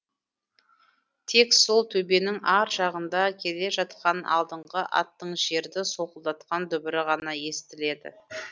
тек сол төбенің ар жағында келе жатқан алдыңғы аттың жерді солқылдатқан дүбірі ғана естіледі